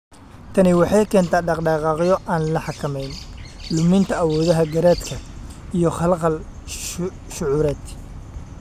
Tani waxay keentaa dhaqdhaqaaqyo aan la xakamayn, luminta awoodaha garaadka, iyo khalkhal shucuureed.